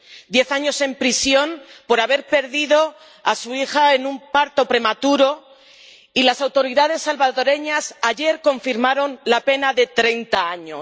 Diez años en prisión por haber perdido a su hija en un parto prematuro, y las autoridades salvadoreñas confirmaron ayer la pena de treinta años.